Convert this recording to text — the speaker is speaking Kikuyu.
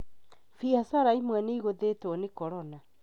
Biacara imwe nĩ cigũthĩtwo nĩ corona